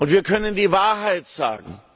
Wir können die Wahrheit sagen.